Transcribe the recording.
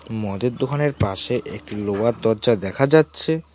মদের দোকানের পাশে একটি লোয়ার দজ্জা দেখা যাচ্ছে।